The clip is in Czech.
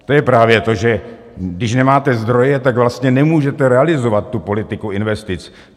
To je právě to, že když nemáte zdroje, tak vlastně nemůžete realizovat tu politiku investic.